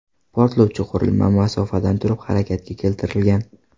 Portlovchi qurilma masofadan turib harakatga keltirilgan.